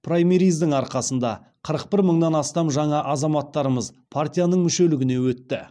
праймериздің арқасында қырық бір мыңнан астам жаңа азаматтарымыз партияның мүшелігіне өтті